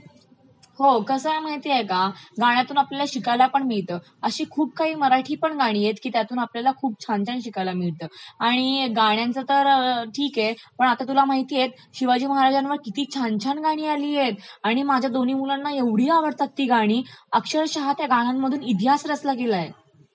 हो कसं आहे माहितेय का गाण्यातुन आपल्याला शिकायलं पण मिळतं. अशी खूप काही मराठीपण गाणी आहेत की ज्याच्या तून आपल्याला खूप छान छान शिकायला पण मिळतं. आणि गाण्यांचे तर ठीक आहे. पण आता तुला माहितेय शिवाजी महाराजांवरती किती छान छान गाणी आलियतं आणि माझ्या दोन्ही मुलांना ऐवढी आवडतात ती गाणी, अक्षरशः त्या गाण्यामधून इतिहास रचला गेलायं .